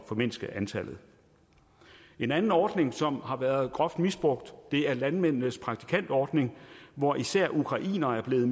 formindske antallet en anden ordning som har været groft misbrugt er landmændenes praktikantordning hvorunder især ukrainere har